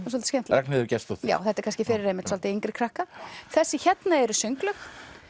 Ragnheiður Gestsdóttir þetta er kannski fyrir einmitt svolítið yngri krakka þessi hérna eru sönglög